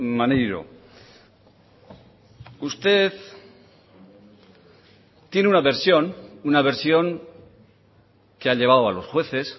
maneiro usted tiene una versión una versión que ha llevado a los jueces